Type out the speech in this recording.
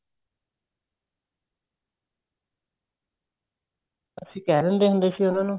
ਅਸੀਂ ਕਹਿ ਦਿੰਦੇ ਹੁੰਦੇ ਸੀ ਉਹਨਾ ਨੂੰ